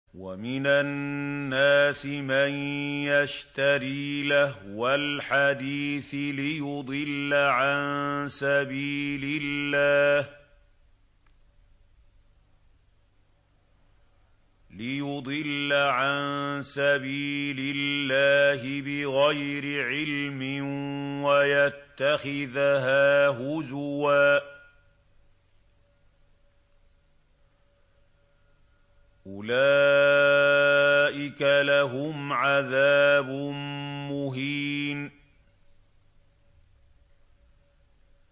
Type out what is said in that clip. وَمِنَ النَّاسِ مَن يَشْتَرِي لَهْوَ الْحَدِيثِ لِيُضِلَّ عَن سَبِيلِ اللَّهِ بِغَيْرِ عِلْمٍ وَيَتَّخِذَهَا هُزُوًا ۚ أُولَٰئِكَ لَهُمْ عَذَابٌ مُّهِينٌ